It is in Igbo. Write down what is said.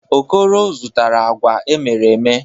Okoro zụtara agwa emere eme.